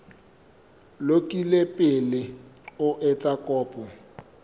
lokile pele o etsa kopo